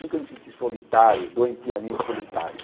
Nunca me sentia solitário, doentiamente solitário.